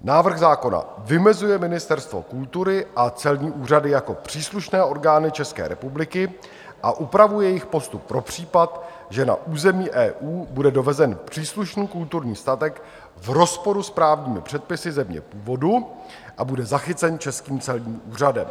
Návrh zákona vymezuje Ministerstvo kultury a celní úřady jako příslušné orgány České republiky a upravuje jejich postup pro případ, že na území EU bude dovezen příslušný kulturní statek v rozporu s právními předpisy země původu a bude zachycen českým celním úřadem.